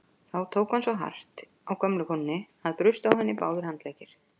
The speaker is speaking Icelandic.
Þá tók hann svo hart á gömlu konunni að brustu á henni báðir handleggir.